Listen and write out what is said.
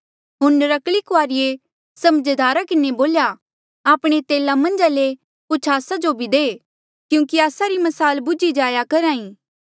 होर नर्क्कली कुआरिये समझदारा किन्हें बोल्या आपणे तेला मन्झा ले कुछ आस्सा जो भी दे क्यूंकि आस्सा री म्साल बुझी जाया करहा ई